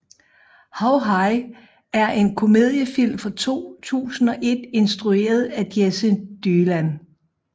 How High er en komediefilm fra 2001 instrueret af Jesse Dylan